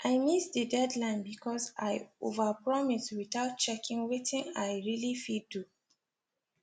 i miss the deadline because i overpromise without checking wetin i really fit do